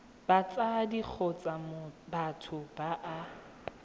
batsadi kgotsa batho ba ba